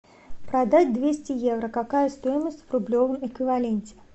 продать двести евро какая стоимость в рублевом эквиваленте